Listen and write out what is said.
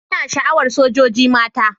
Ina sha'awar sojoji mata.